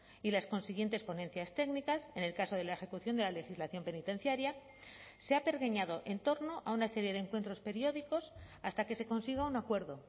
y las consiguientes ponencias técnicas en el caso de la ejecución de la legislación penitenciaria se ha pergeñado en torno a una serie de encuentros periódicos hasta que se consiga un acuerdo